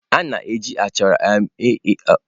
A na-eji achara eme ihe n'Enugwu.